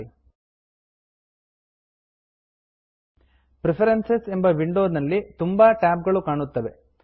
preference preference ಎಂಬ window ನಲ್ಲಿ ತುಂಬಾ ಟ್ಯಾಬ್ ಗಳು ಕಾಣುತ್ತವೆ